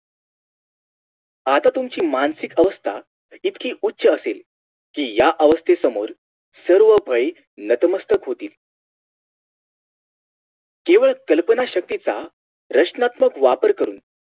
आता तुमची मानसिक आवस्था इतकी उच्च असेल कि या आवस्थेसमोर सर्व भय नतमस्तक होतील केवळ कल्पना शक्तीचा रचनात्मक वापर करून